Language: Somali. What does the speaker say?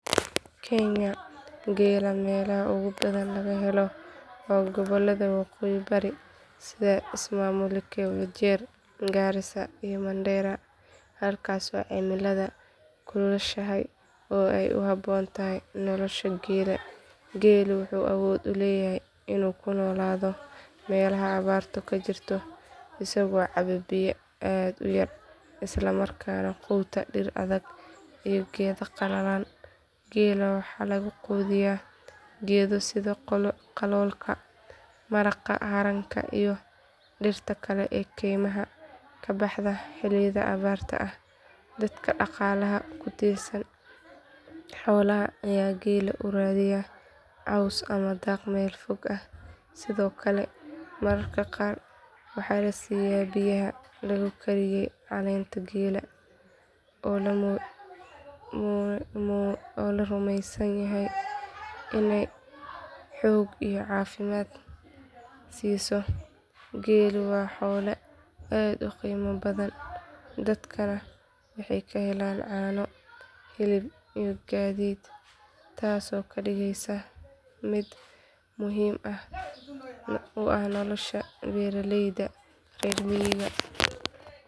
Kenya geela meelaha ugu badan laga helo waa gobollada waqooyi bari sida ismaamulooyinka wajir garissa iyo mandera halkaasoo cimiladu kulushahay oo ay u habboon tahay nolosha geela geelu wuxuu awood u leeyahay inuu ku noolaado meelaha abaartu ka jirto isagoo caba biyo aad u yar isla markaana quuta dhir adag iyo geedo qalalan geela waxaa lagu quudiyaa geedo sida qaloolka maraqa haranka iyo dhirta kale ee kaymaha ka baxda xilliyada abaarta ah dadka dhaqaalaha ku tiirsan xoolaha ayaa geela u raadiya caws ama daaq meel fog ah sidoo kale mararka qaar waxaa la siiyaa biyaha lagu kariyay caleenta geela oo la rumeysan yahay inay xoog iyo caafimaad siiso geelu waa xoolo aad u qiimo badan dadkana waxay ka helaan caano hilib iyo gaadiid taasoo ka dhigaysa mid muhiim u ah nolosha beeraleyda reer miyiga.